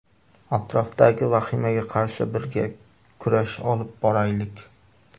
Atrofdagi vahimaga qarshi birga kurash olib boraylik.